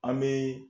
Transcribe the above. An bɛ